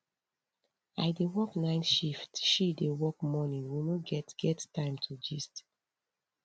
i dey work night shift she dey work morning we no get get time to gist